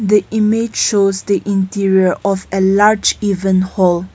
the image shows the interior of a large event hall.